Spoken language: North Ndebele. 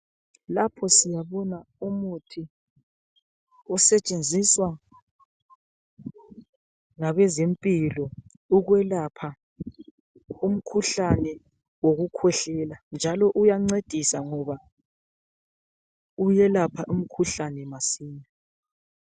Lapho siyabona umuthi osetshenziswa ngabeze mpilo ukwelapha umkhuhlane wokukhwehlela ,njalo uyancedisa ngoba uyelapha umkhuhlane masinya.